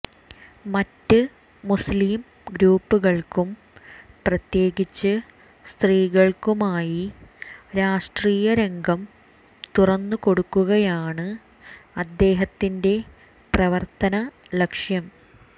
മറ്റ് മുസ്ലീം ഗ്രൂപ്പുകള്ക്കും പ്രത്യേകിച്ചു സ്ത്രീകള്ക്കുമായി രാഷ്ട്രീയരംഗം തുറന്നു കൊടുക്കുകയാണ് അദ്ദേഹത്തിന്റെ പ്രവര്ത്തന ലക്ഷ്യം